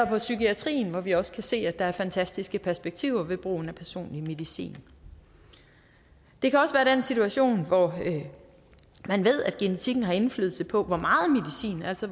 på psykiatriområdet hvor vi også kan se at der er fantastiske perspektiver ved brugen af personlig medicin det kan også være den situation hvor man ved at genetikken har indflydelse på